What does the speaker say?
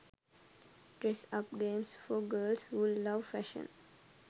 dress up games for girls who love fashion